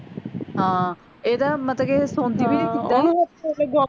ਹਾਂ ਇਹ ਤਾਂ ਮਤਲਬ ਕਿ ਸੋਂਦੀ ਵੀ ਨੀ ਸੀਗੀ